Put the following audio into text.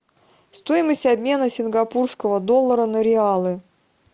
стоимость обмена сингапурского доллара на реалы